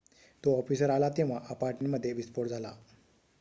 तो ऑफिसर आला तेव्हा अपार्टमेंटमध्ये विस्फोट झाला